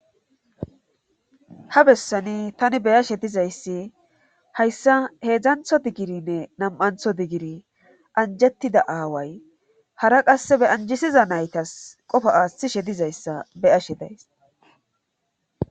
Ha bessani tani beyashe dizayssi hayssa heedzdzantho diggirinne nam7antho diggiri anjettida aaway hara qasse be anjisiza naytas qofa aaththishe dizayssa beyashe days.